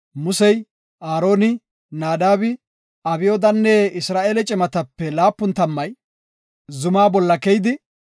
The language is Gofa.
Musey, Aaroni, Naadabi, Abyoodanne Isra7eele cimatape laapun tammay zumaa bolla keyidi,